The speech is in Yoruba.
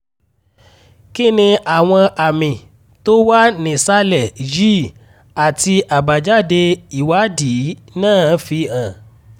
kí ni àwọn àmì tó wà nísàlẹ̀ yìí àti àbájáde ìwádìí náà fi hàn?